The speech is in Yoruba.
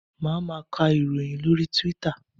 Máa ma ka ìròyìn lórí Twitter.